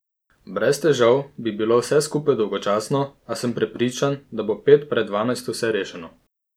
Brez težav bi bilo vse skupaj dolgočasno, a sem prepričan, da bo pet pred dvanajsto vse rešeno.